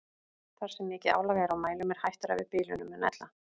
Þar sem mikið álag er á mælum er hættara við bilunum en ella.